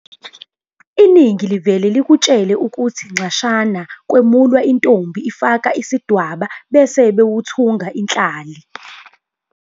Iningi livele likutshele ukuthi nxashana kwemulwa intombi ifaka isidwaba bese bewuthunga inhlali.